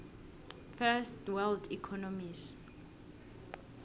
first world economies